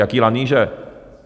Jaké lanýže?